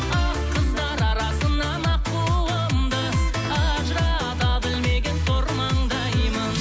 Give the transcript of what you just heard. ақ қыздар арасынан аққуымды ажырата білмеген сор маңдаймын